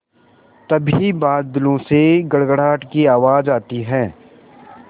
तभी बादलों से गड़गड़ाहट की आवाज़ आती है